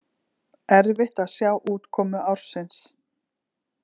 Erfitt að sjá útkomu ársins